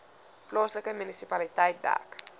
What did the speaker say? plaaslike munisipaliteit dek